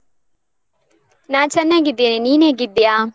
ನಾ ಚೆನ್ನಾಗಿದ್ದೇನೆ. ನೀನ್ ಹೇಗಿದ್ದೀಯಾ?